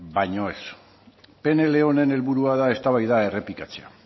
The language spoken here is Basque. baina ez pnl honen helburua da eztabaida hori errepikatzea